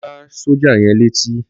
Lọ gbá sọ́jà yẹn létí.